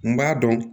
N b'a dɔn